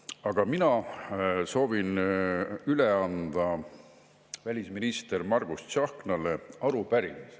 Aga mina soovin üle anda arupärimise välisminister Margus Tsahknale.